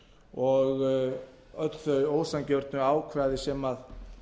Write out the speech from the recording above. og öll þau ósanngjörnu ákvæði sem